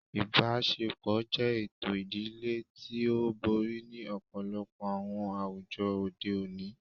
Ibaṣepọ jẹ eto idile ti o bori ni ọpọlọpọ awọn awujọ ode oni